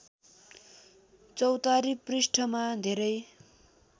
चौतारी पृष्ठमा धेरै